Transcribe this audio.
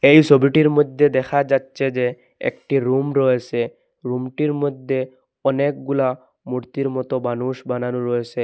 এই ছবিটির মইধ্যে দেখা যাচ্ছে যে একটি রুম রয়েসে রুমটির মধ্যে অনেকগুলা মূর্তির মতো মানুষ বানানো রয়েসে ।